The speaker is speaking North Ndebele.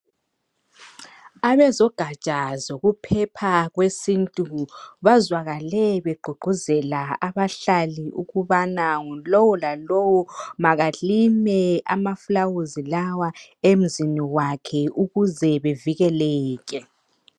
Abezogatsha zokuphepha kwesintu bazwakale begqugquzela abahlali ukubana yilowolalowo maka lime amaluba lawa emzini wakhe ukuze bevikeleke.